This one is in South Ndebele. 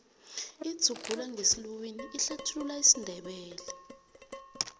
idzubulangesiluwini ihlathulula isindebele